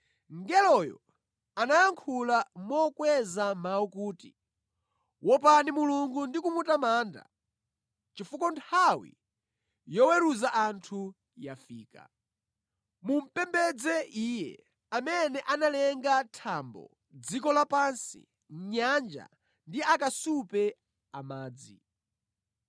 Mngeloyo anayankhula mokweza mawu kuti, “Wopani Mulungu ndi kumutamanda, chifukwa nthawi yoweruza anthu yafika. Mumupembedze Iye amene analenga thambo, dziko lapansi, nyanja ndi akasupe amadzi.”